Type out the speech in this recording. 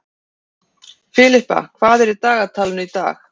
Filippa, hvað er í dagatalinu í dag?